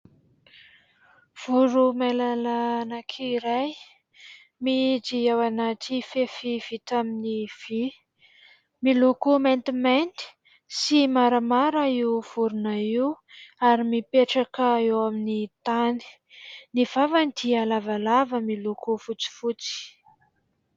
Voromailala anankiray mihidy ao anaty fefy vita amin'ny vy. Miloko maintimainty sy maramara io vorona io ary mipetraka eo amin'ny tany. Ny vavany dia lavalava, miloko fotsifotsy.